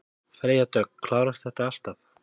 Freyja Dögg: Klárast þetta alltaf?